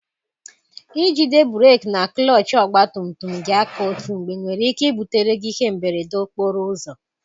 Ijide breki na klọchị ọgba tum tum gị aka otú mgbe nwere ike ibutere gị ihe mberede okporo ụzọ.